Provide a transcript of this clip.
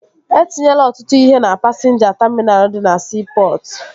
E tinyela ọtụtụ ihe na pasinja taminal dị na siipọtụ